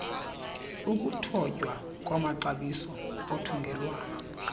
ukuthotywa kwamaxabiso othungelwano